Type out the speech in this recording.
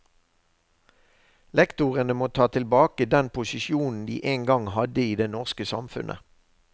Lektorene må ta tilbake den posisjon de en gang hadde i det norske samfunnet.